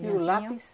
E o lápis?